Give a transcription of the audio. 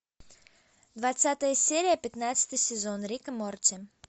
двадцатая серия пятнадцатый сезон рик и морти